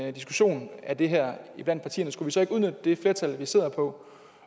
en diskussion af det her iblandt partierne skulle vi så ikke udnytte det flertal vi sidder på